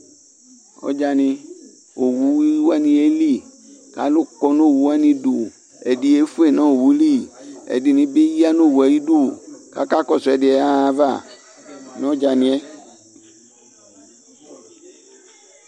Ɔdzanɩ, owu wanɩ yeli ,kalʋ kɔ nowu wanɩ idu, ɛdɩ yefue nowu li, kɛdɩnɩ bɩ ya nowue ayidu kaka kɔsʋ ɛdɩ yaɣa ayava nʋ ɔdzanɩɛ